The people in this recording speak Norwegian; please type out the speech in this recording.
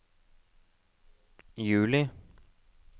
juli